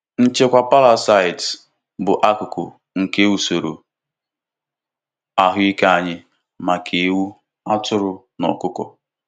Nchịkwa parasites bụ akụkụ nke usoro ahụike anyị maka ewu, atụrụ, na ọkụkọ.